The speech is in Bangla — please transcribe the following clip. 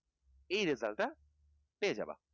এই result টা পেয়ে যাবে